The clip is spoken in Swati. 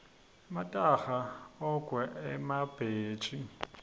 emataha ogwke emabhetji